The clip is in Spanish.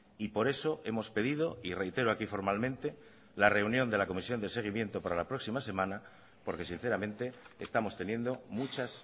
y por eso hemos pedido y reitero aquí formalmente la reunión de la comisión de seguimiento para la próxima semana porque sinceramente estamos teniendo muchas